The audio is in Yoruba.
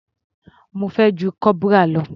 Mo fẹ́ ju corporal lọ.